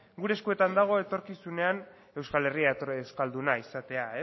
gure eskuetan dago etorkizunean euskal herria euskalduna izatea